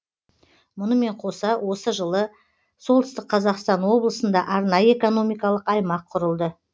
мұнымен қоса осы жылы солтүстік қазақстан облысында арнайы экономикалық аймақ құрылды